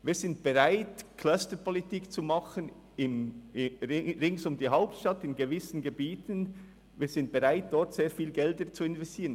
Wir sind bereit, Clusterpolitik im Umkreis der Hauptstadt zu machen und in gewissen Gebieten sehr viel Geld zu investieren.